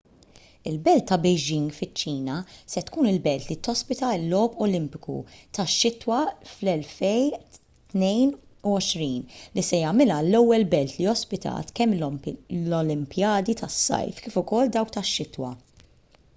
il-belt ta' beijing fiċ-ċina se tkun il-belt li tospita l-logħob olimpiku tax-xitwa fl-2022 li se jagħmilha l-ewwel belt li ospitat kemm l-olimpjadi tas-sajf kif ukoll dawk tax-xitwa